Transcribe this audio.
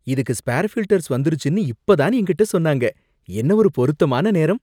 இதுக்கு spare filters வந்துருச்சுன்னு இப்ப தான் என்கிட்ட சொன்னாங்க. என்ன ஒரு பொருத்தமான நேரம்